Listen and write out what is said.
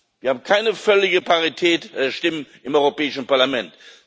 Wir haben keine völlige Parität der Stimmen im Europäischen Parlament.